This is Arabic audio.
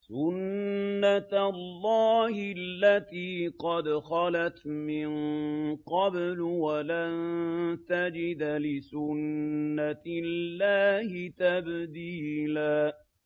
سُنَّةَ اللَّهِ الَّتِي قَدْ خَلَتْ مِن قَبْلُ ۖ وَلَن تَجِدَ لِسُنَّةِ اللَّهِ تَبْدِيلًا